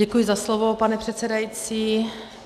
Děkuji za slovo, pane předsedající.